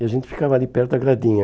E a gente ficava ali perto da gradinha.